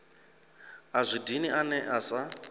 a zwi dini ane asa